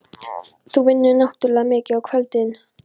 Þú vinnur náttúrlega mikið á kvöldin.